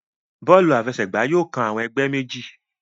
Bóòlù àfẹsẹ̀gbá yóò kán awon ègbé méjì.